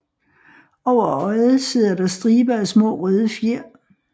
Over øjet sidder der striber af små røde fjer